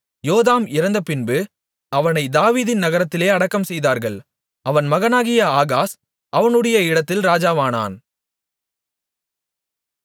யோதாம் இறந்தபின்பு அவனை தாவீதின் நகரத்திலே அடக்கம்செய்தார்கள் அவன் மகனாகிய ஆகாஸ் அவனுடைய இடத்தில் ராஜாவானான்